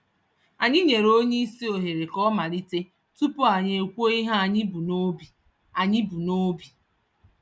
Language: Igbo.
Anyị nyere onyeisi ohere k'ọmalite tupu anyị ekwuo ihe anyị bú n'obi. anyị bú n'obi.